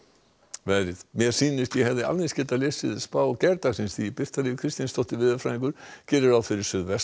veðrið mér sýnist að ég hefði alveg eins geta lesið spá gærdagsins því Birta Líf Kristinsdóttir veðurfræðingur gerir ráð fyrir